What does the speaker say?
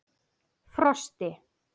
Frosti